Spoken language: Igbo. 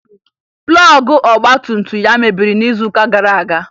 Plọọgụ ọgbatumtum ya mebiri n'izuụka gara aga